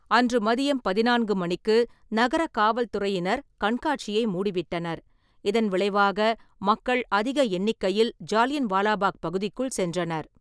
அன்று மதியம் பதினான்கு மணிக்கு நகர காவல் துறையினர் கண்காட்சியை மூடிவிட்டனர், இதன் விளைவாக மக்கள் அதிக எண்ணிக்கையில் ஜாலியன் வாலாபாக் பகுதிக்குள் சென்றனர்.